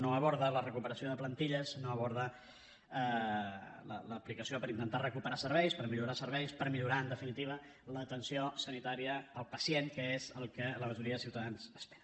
no aborda la recuperació de plantilles no aborda l’aplicació per intentar recuperar serveis per millorar serveis per millorar en definitiva l’atenció sanitària al pacient que és el que la majoria de ciutadans esperen